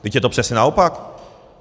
Vždyť je to přesně naopak.